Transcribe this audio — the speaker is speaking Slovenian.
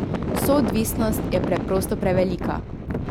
Soodvisnost je preprosto prevelika.